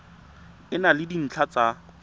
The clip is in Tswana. e na le dintlha tsa